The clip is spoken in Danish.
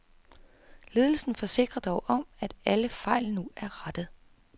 Ledelsen forsikrer dog om, at alle fejl nu er rettet.